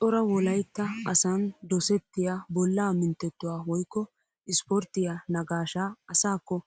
Cora wolaytta asan dosettiyaa bollaa minttettuwaa woykko isporttiyaa nagaashshaa asaakko